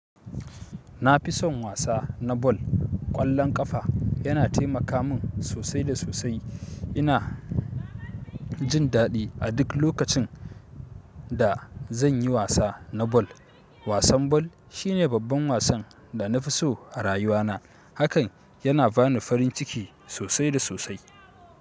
Nafi son wasa na ball, ƙwallon kafa yana taimaka mun sosai da sosai. Ina jin daɗi a duk lokacin da zan yi wasa na bal. Wasan bal shi ne babban wasan da na fi so a rayuwana. Hakan yana bani farin ciki sosai da sosai.